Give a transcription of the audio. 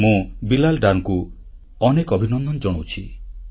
ମୁଁ ବିଲାଲ ଡରଙ୍କୁ ଅନେକ ଅନେକ ଅଭିନନ୍ଦନ ଜଣାଉଛି